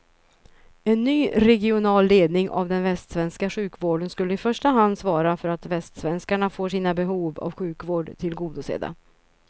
En ny regional ledning av den västsvenska sjukvården skulle i första hand svara för att västsvenskarna får sina behov av sjukvård tillgodosedda.